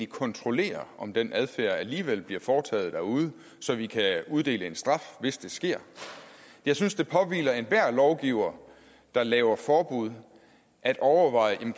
kontrollere om den adfærd alligevel bliver foretaget derude så vi kan uddele en straf hvis det sker jeg synes det påhviler enhver lovgiver der laver forbud at overveje om